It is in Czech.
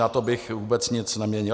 Na tom bych vůbec nic neměnil.